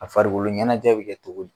A farikoloɲɛnajɛ bɛ u kɛ cogo di